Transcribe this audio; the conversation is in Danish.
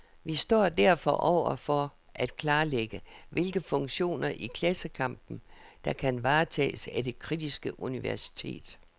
Vi står derfor over for at klarlægge, hvilke funktioner i klassekampen, der kan varetages af det kritiske universitet.